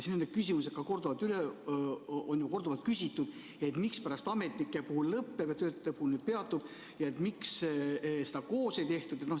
Neid küsimusi on korduvalt küsitud, mispärast ametnike puhul lõpeb, töötaja puhul peatub ja miks seda koos ei tehtud.